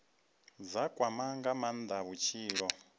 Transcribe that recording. dza kwama nga maanda vhutshilo